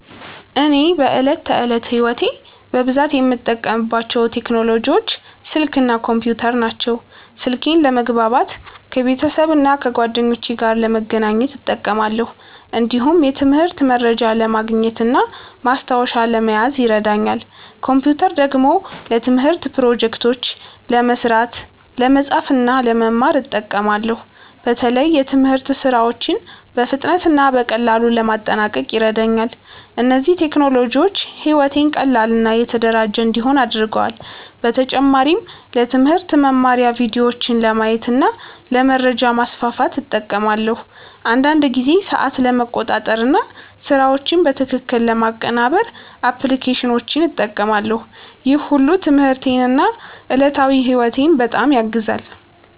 እኔ በዕለት ተዕለት ሕይወቴ በብዛት የምጠቀምባቸው ቴክኖሎጂዎች ስልክ እና ኮምፒውተር ናቸው። ስልኬን ለመግባባት ከቤተሰብና ከጓደኞቼ ጋር ለመገናኘት እጠቀማለሁ። እንዲሁም የትምህርት መረጃ ለማግኘት እና ማስታወሻ ለመያዝ ይረዳኛል። ኮምፒውተር ደግሞ ለትምህርት ፕሮጀክቶች ለመስራት፣ ለመጻፍ እና ለመማር እጠቀማለሁ። በተለይ የትምህርት ሥራዎችን በፍጥነት እና በቀላሉ ለማጠናቀቅ ይረዳኛል። እነዚህ ቴክኖሎጂዎች ሕይወቴን ቀላል እና የተደራጀ እንዲሆን አድርገዋል። በተጨማሪም ለትምህርት መማሪያ ቪዲዮዎችን ለማየት እና ለመረጃ ማስፋፋት እጠቀማለሁ። አንዳንድ ጊዜ ሰዓት ለመቆጣጠር እና ስራዎችን በትክክል ለማቀናበር አፕሊኬሽኖችን እጠቀማለሁ። ይህ ሁሉ ትምህርቴን እና ዕለታዊ ሕይወቴን በጣም ያግዛል።